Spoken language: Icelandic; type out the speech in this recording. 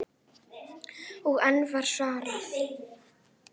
Og enn var svarað: